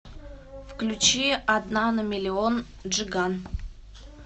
включи одна на миллион джиган